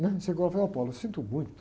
né? Chegou lá e falou, óh, sinto muito.